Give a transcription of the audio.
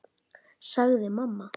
sagði mamma.